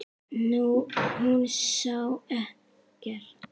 Hún sá ekkert.